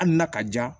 Hali n'a ka jan